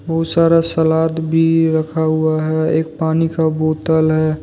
बहुत सारा सलाद भी रखा हुआ हैएक पानी का बोतल है।